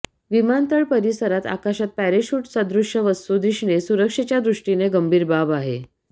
विमानतळ परिसरात आकाशात पॅराशूट सदृश्य वस्तू दिसणे सुरक्षेच्या दृष्टीने गंभीर बाब आहे